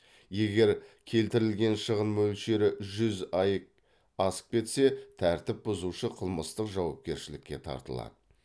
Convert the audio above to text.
егер келтірілген шығын мөлшері жүз аек асып кетсе тәртіп бұзушы қылмыстық жауапкершілікке тартылады